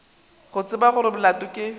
go tseba gore molato ke